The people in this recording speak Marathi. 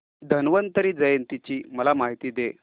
धन्वंतरी जयंती ची मला माहिती दे